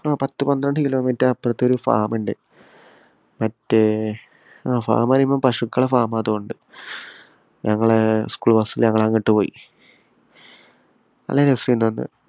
പത്ത് പന്ത്രണ്ടു കിലോമീറ്റര്‍ അപ്പുറത്ത് ഒരു farm ഉണ്ട്‌. മറ്റേ ആഹ് farm എന്ന് പറയുമ്പോള്‍ പശുക്കളുടെ farm ആയത് കൊണ്ട് ഞങ്ങള് school bus ല് ഞങ്ങളങ്ങോട്ടു പോയി. നല്ല രസോണ്ടാരുന്നു.